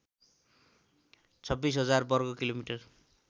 २६००० वर्ग किलोमिटर